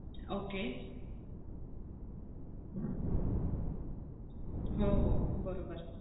Okay. हो हो बरोबर.